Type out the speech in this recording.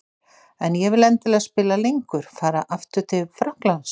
En ég vil endilega spila lengur. Fara aftur til Frakklands?